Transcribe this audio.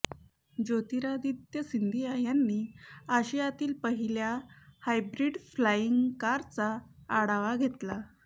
ज्योतिरादित्य सिंधिया यांनी आशियातील पहिल्या हायब्रिड फ्लाइंग कारचा आढावा घेतला